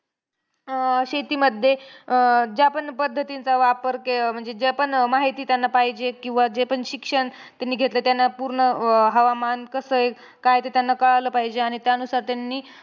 अं शेतीमध्ये अं ज्या पण पद्धतींचा वापर, के म्हणजे जे पण माहिती त्यांना पाहिजे, किंवा जे पण शिक्षण त्यांनी घेतलं त्यांना पूर्ण हवामान कसंय काय ते त्यांना कळालं पाहिजे. आणि त्यानुसार त्यांनी